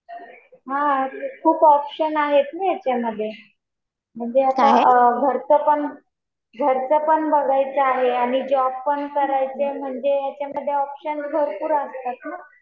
हा खूप ऑप्शन आहेत ना याच्यामध्ये. म्हणजे आता घरचं पण बघायचं आहे आणि जॉब पण करायचं म्हणजे याच्यामध्ये ऑप्शन भरपूर आहेत.